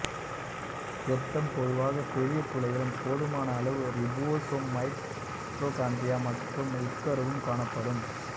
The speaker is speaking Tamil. செப்டம் பொதுவாக பெரிய துளைகளும் போதுமான அளவு ரிபோசோம் மைட்டோகாண்டிரியா மற்றும் உட்கருவும் காணப்படும்